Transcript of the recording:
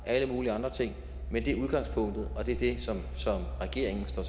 alle mulige andre ting men det er udgangspunktet og det er det som regeringen står